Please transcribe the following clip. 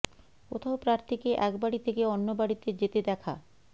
কোথাও প্রার্থীকে এক বাড়ি থেকে অন্য বাড়িতে যেতে দেখা